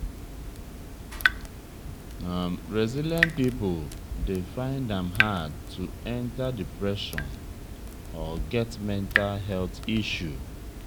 resilient pipo dey find am hard to enter depression or get mental health issue